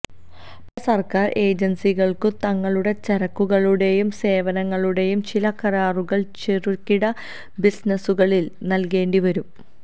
പല സർക്കാർ ഏജൻസികൾക്കും തങ്ങളുടെ ചരക്കുകളുടെയും സേവനങ്ങളുടെയും ചില കരാറുകൾ ചെറുകിട ബിസിനസുകളിൽ നൽകേണ്ടിവരും